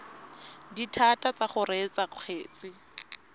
dithata tsa go reetsa kgetse